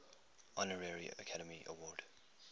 honorary academy award